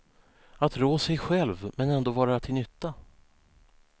Att rå sig själv, men ändå vara till nytta.